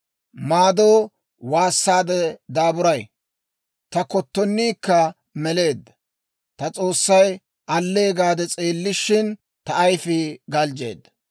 Maadoo waassaade daaburay; ta kottoniikka meleedda. Ta S'oossay allee gaade s'eellishin, ta ayifii galjjeedda.